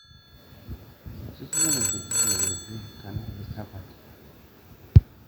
ore ebata ewueji orbonko nemeikeno tolchoni